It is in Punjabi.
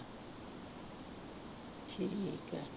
ਠੀਕ ਹੈ।